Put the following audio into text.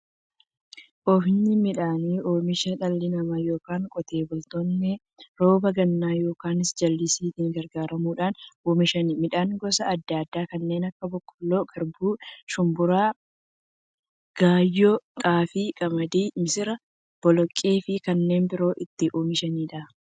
Oomishni midhaanii, oomisha dhalli namaa yookiin Qotee bultoonni roba gannaa yookiin jallisiitti gargaaramuun oomisha midhaan gosa adda addaa kanneen akka; boqqoolloo, garbuu, shumburaa, gaayyoo, xaafii, qamadii, misira, boloqqeefi kanneen biroo itti oomishamiidha.